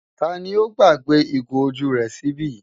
Ta ni ó gbàgbé ìgò ojú rẹ̀ sí ibí?